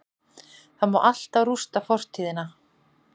Það má alltaf rústa fortíðina-